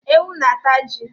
Ewu na ata ji